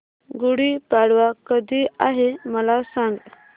गुढी पाडवा कधी आहे मला सांग